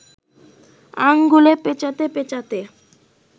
আঙুলে পেঁচাতে পেঁচাতে